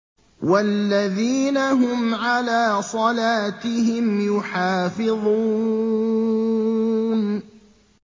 وَالَّذِينَ هُمْ عَلَىٰ صَلَاتِهِمْ يُحَافِظُونَ